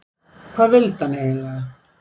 Hvað vildi hann eiginlega?